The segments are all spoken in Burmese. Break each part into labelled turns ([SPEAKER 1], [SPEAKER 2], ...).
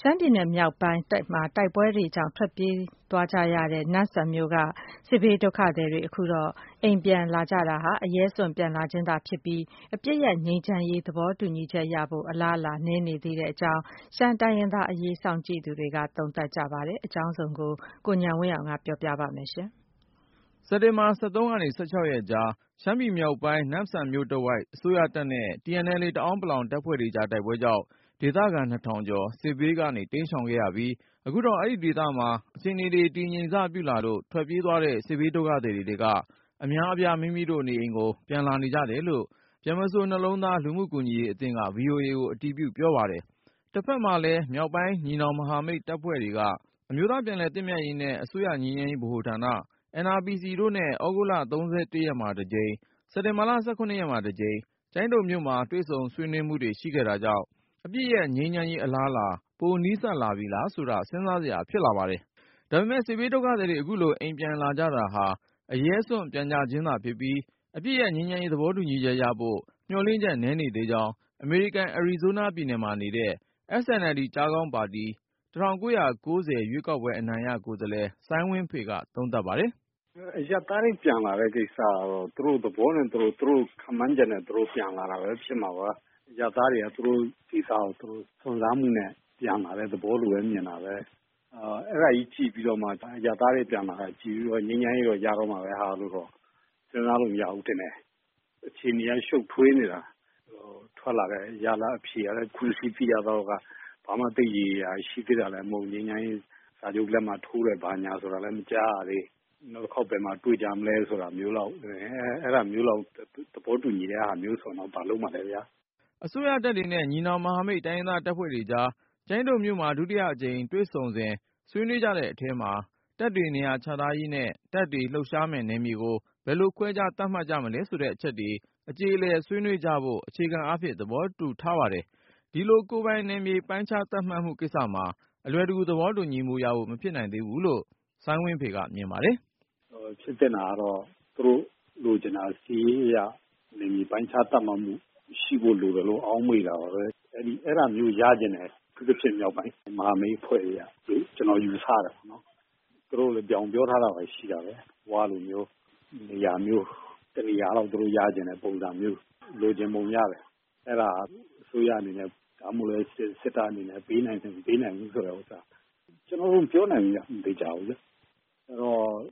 [SPEAKER 1] ရှမ်းပြည်နယ်မြောက်ပိုင်း တိုက်ပွဲတွေကြောင့် ထွက်ပြေးသွားရတဲ့ နမ့်ဆန်မြို့က စစ်ဘေးဒုက္ခသည်တွေ အခုတော့ အိမ်ပြန် လာကြတာဟာ အရဲစွန့် ပြန်လာခြင်းသာဖြစ်ပြီး၊ အပစ်ရပ် ငြိမ်းချမ်းရေး သဘောတူညီချက်ရဖို့ အလားအလာ နည်းနေသေးကြောင်း ရှမ်းတိုင်းရင်းသားအရေး စောင့်ကြည့်သူတွေက သုံးသပ်ကြပါတယ်။ အကြောင်းစုံကို ကိုဉာဏ်ဝင်းအောင်က တင်ပြပါမယ်။ စက်တင်ဘာ ၁၃ ကနေ ၁၆ ရက်ကြား ရှမ်းပြည်မြောက်ပိုင်း နမ့်ဆန်မြို့တဝိုက်မှာ အစိုးရတပ်နဲ့ TNLA တအောန်းပလောင် တပ်ဖွဲ့တွေကြား တိုက်ပွဲကြောင့် ဒေသခံ နှစ်ထောင်ကျော် စစ်ဘေးက တိမ်းရှောင်ခဲ့ရပြီး၊ အခုတော့ အဲဒီဒေသမှာ အခြေအနေတွေ တည်ငြိမ်စပြုလာလို့ ထွက်ပြေးသွားတဲ့ စစ်ဘေးဒုက္ခသည်တွေထဲက အများအပြား မိမိတို့နေအိမ်ကို ပြန်လာနေကြတယ်လို့ ဗြဟ္မစိုရ်နှလုံးသား လူမှုကူညီရေး အသင်းက VOA ကိုအတည်ပြု ပြောပါတယ်။ တဖက်မှာလည်း မြောက်ပိုင်း ညီနောင်မဟာမိတ်အဖွဲ့တွေက အမျိုးသားပြန်လည်သင့်မြတ်ရေးနဲ့ အစိုးရငြိမ်းချမ်းရေးဗဟိုဌာန NRPC တို့နဲ့ သြဂုတ်လ ၃၁ ရက်မှာတကြိမ်၊ စက်တင်ဘာ ၁၇ ရက်မှာတကြိမ် ကျိုင်းတုံမြို့မှာ တွေ့ဆုံဆွေးနွေးမှုတွေ ရှိခဲ့တာကြောင့် အပစ်ရပ်ငြိမ်းချမ်းရေး အလားအလာ ပိုနီးစပ်လာပြီလားဆိုတာ စဉ်းစားစရာဖြစ်လာပါတယ်။ ဒါပေမဲ့ စစ်ဘေးဒုက္ခသည်တွေ အခုလို အိမ်ပြန်လာကြတာဟာ အရဲစွန့် ပြန်ကြခြင်းသာဖြစ်ပြီး၊ အပစ်ရပ် ငြိမ်းချမ်းရေး သဘောတူညီချက်ရဖို့ မျှော်လင့်ချက် နည်းနေသေးကြောင်း အမေရိကန် အရီဇိုးနားပြည်နယ်မှာနေတဲ့ SNLD ပါတီ ၁၉၉၀ ရွေးကောက်ပွဲအနိုင်ရ ကိုယ်စားလှယ် စိုင်းဝင်းဖေက သုံးသပ်ပါတယ်။
[SPEAKER 2] “အရပ်သားတွေ ပြန်လာတဲ့ ကိစ္စကတော့ သူတို့သဘောနဲ့ သူတို့ ခန့်မှန်းချက်နဲ့ သူတို့ ပြန်လာကြတယ်။ အရပ်သားတွေက သူတို့နေရာကို စွန့်စားနဲ့ ပြန်လာတဲ့သဘောပါပဲ။ အဲဒါကိုကြည့်ပြီး အရပ်သားတွေပြန်လာတာကို ကြည့်ပြီး ငြိမ်းချမ်းရေးရတော့မှာပဲဆိုပြီးတော့ စဉ်းစားလို့ မရဘူးထင်တယ်။ အခြေအနေက ရှုပ်ထွေးနေတာ ထွက်လာတဲ့ ရလဒ်အဖြေကလည်း အခုသိရသလောက်က ဘာမှ ရေရေရာရာလည်း ရှိသေးတာမဟုတ်သေးဘူး။ ငြိမ်းချမ်းရေး စာချုပ်လက်မှတ်ထိုးတယ်ဆိုတာလည်း မကြားရသေးဘူး။ နောက်တခါ ဘယ်မှာတွေ့ကြမလဲ အဲဒါမျိုးလောက် သဘောတူညီတာမျိုးဆိုတော့ ဘာလုပ်မှာလဲခင်ဗျ။
[SPEAKER 1] ” အစိုးရတပ်တွေနဲ့ ညီနောင်မဟာမိတ် တိုင်းရင်းသားတပ်ဖွဲ့တွေကြား ကျိုင်းတုံမြို့မှာ ဒုတိယအကြိမ်တွေ့ဆုံစဉ် ဆွေးနွေးကြတဲ့အထဲမှာ တပ်တွေနေရာချထားရေးနဲ့ တပ်တွေ လှုပ်ရှားမယ့်နယ်မြေကို ဘယ်လိုခွဲခြား သတ်မှတ်မလဲဆိုတဲ့အချက်တွေ အကြေအလည်ဆွေးနွေးကြဖို့ အခြေခံအားဖြင့် သဘောတူထားပါတယ်။ ဒီလို ကိုယ်ပိုင်နယ်မြေ ပိုင်းခြားသတ်မှတ်မှုကိစ္စမှာ အလွယ်တကူ သဘောတူညီမှုရဖို့ မဖြစ်နိုင် သေးဘူးလို့ စိုင်းဝင်းဖေက မြင်ပါတယ်
[SPEAKER 2] ။ “ ဖြစ်သင့်တာကတော့ သူတို့လိုချင်တာ စစ်ရေးအရ နယ်မြေ ပိုင်းခြားသတ်မှတ်မှု ရှိဖို့လိုတယ်လို့ ထင်တာပဲ ။ အဲဒါမျိုးရချင်တယ် အထူးသဖြင့် မြောက်ပိုင်းမဟာမိတ်အဖွဲ့တွေကလို့ ကျနော်ယူဆတာပေါ့နော်။ သူတို့ပြောထားတာရှိတာပဲ ၀ တို့လို့မျိုး နေရာ တနေရာလောက်တော့ ရချင်တဲ့ ပုံစံမျိုး လိုချင်ပုံရတယ်။ အဲဒါ စစ်တပ်အနေနဲ့ ပေးနိုင်တယ် မပေးနိုင်ဘူးဆိုတာ ကျနော်မပြောနိုင်ဘူးခင်ဗျ မသေချာဘူးလေ။ အဲ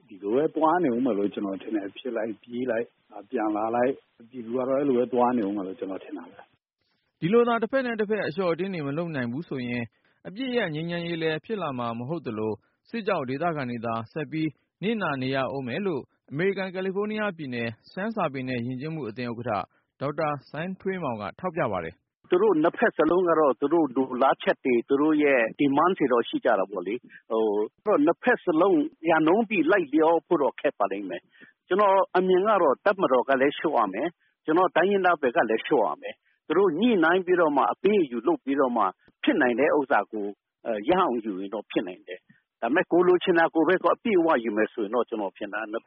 [SPEAKER 2] ဒီတော့ ဒီလိုပဲ သွားနေဦးမယ်လို့ ကျနော်ထင်တယ်။ ဖြစ်လိုက်၊ ပြေးလိုက် ၊ ပြန်လာလိုက်နဲ့ ပြည်သူကတော့ အဲလိုမျိုး သွားနေဦးမယ်လို့ ကျနော်ထင်တာပဲ။
[SPEAKER 1] ” ဒီလိုသာ တဖက်နဲ့တဖက် အလျှော့အတင်းတွေ မလုပ်နိုင်ဘူးဆိုရင် အပစ်ရပ်ငြိမ်းချမ်းရေးလည်း ဖြစ်လာမှာ မဟုတ်သလို၊ စစ်ကြောင့် ဒေသခံတွေသာ ဆက်ပြီး နစ်နာနေရဦးမယ်လို့ အမေရိကန် ကယ်လီဖိုးနီးယားပြည်နယ် ရှမ်းစာပေနဲ့ ယဉ်ကျေးမှုအသင်းဥက္ကဌ ဒေါက်တာ စိုင်းထွေးမောင်က ထောက်ပြပါတယ်။
[SPEAKER 2] “သူတို့ ၂ ဖက်စလုံးကတော့ သူတို့လိုလားချက်တွေ သူတို့ရဲ့ ရည်မှန်းချက်ကတော့ ရှိကြတာပဲလေ။ ၂ ဖက်စလုံး ရာခိုင်နှုန်းပြည့် လိုက်လျောဖို့တော့ ခက်ပါလိမ့်မယ်။ ကျနော့်အမြင်ကတော့ တပ်မတော်ကလည်း လျော့ရမယ် ၊ ကျနော်တို့ တိုင်းရင်းသားဘက်ကလည်း လျော့ရမယ်၊ သူတို့ ညှိနှိုင်းပြီးတော့မှ အပေးအယူ လုပ်ပြီးတော့မှ ဖြစ်နိုင်တဲ့ ဥစ္စာကို ရအောင်ယူရင်တော့ ဖြစ်နိုင်တယ်။ ဒါပေမယ့် ကိုယ်လိုချင်တာကိုပဲ အပြည့်အ၀ ယူမယ်ဆိုရင်တော့ ၂ ဘ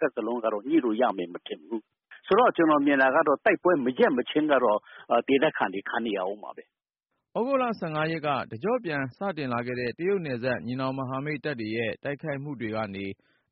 [SPEAKER 2] က်စလုံးက ညှိလို့ရမယ် မထင်ဘူး။ ဆိုတော့ ကျနော်မြင်တာကတော့ တိုက်ပွဲ မရပ်မချင်းတော့ ဒေသခံတွေ ခံနေရဦးမှာပဲ။”
[SPEAKER 1] သြဂုတ်လ ၁၅ ရက်က တကျော့ပြန်စတင်လာခဲ့တဲ့ တရုတ်နယ်စပ် ညီနောင်မဟာမိတ်တပ်တွေရဲ့ တိုက်ခိုက်မှုတွေကနေ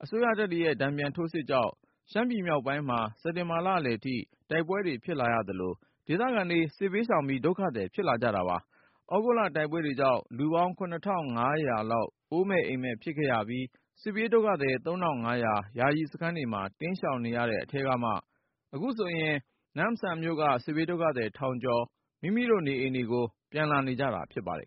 [SPEAKER 1] အစိုးရတပ်တွေရဲ့ တန်ပြန်ထိုးစစ်တွေကြောင့် ရှမ်းပြည်နယ်မြောက်ပိုင်းမှာ စက်တင်ဘာလအလယ်ထိ တိုက်ပွဲတွေ ဖြစ်လာရသလို၊ ဒေသခံတွေ စစ်ဘေးရှောင်ပြီး ဒုက္ခသည် ဖြစ်လာကြပါတယ်။ သြဂုတ်လ တိုက်ပွဲကြောင့် လူပေါင်း ၇၅၀၀ လောက် အိုးမဲ့အိမ်မဲ့ ဖြစ်ခဲ့ရပြီး စစ်ဘေးဒုက္ခသည် ၃၅၀၀ ယာယီစခန်းတွေမှာ တိမ်းရှောင်နေရတဲ့အထဲကမှ အခုဆိုရင် နမ့်ဆန်မြို့က စစ်ဘေးဒုက္ခသည် ထောင်ကျော် မိမိတို့ နေအိမ်ကို ပြန်လာကြတာ ဖြစ်ပါတယ်